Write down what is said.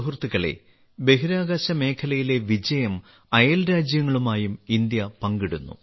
സുഹൃത്തുക്കളേ ബഹിരാകാശ മേഖലയിലെ വിജയം അയൽരാജ്യങ്ങളുമായും ഇന്ത്യ പങ്കിടുന്നു